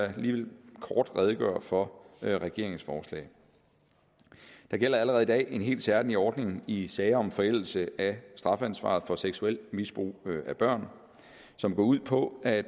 da lige kort redegøre for regeringens forslag der gælder allerede i dag en helt særlig ordning i sager om forældelse af strafansvaret for seksuelt misbrug af børn som går ud på at